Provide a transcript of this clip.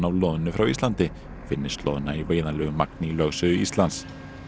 loðnu frá Íslandi finnist loðna í veiðanlegu magni í lögsögu Íslands